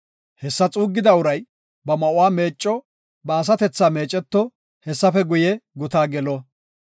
Hessa xuuggida uray ba ma7uwa meecco; ba asatethaa meeceto; hessafe guye, gutaa gelo.